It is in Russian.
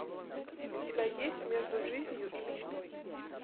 у тебя есть между жизнью и мечтой